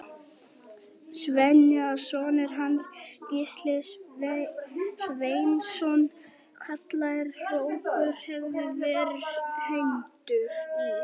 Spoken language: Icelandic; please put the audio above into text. Sveini að sonur hans, Gísli Sveinsson kallaður hrókur, hefði verið hengdur í